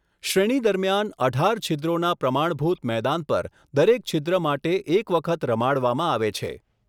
શ્રેણી દરમિયાન અઢાર છિદ્રોના પ્રમાણભૂત મેદાન પર દરેક છિદ્ર માટે એક વખત રમાડવામાં આવે છે.